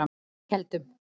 Keldum